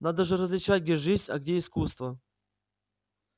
надо же различать где жизнь а где искусство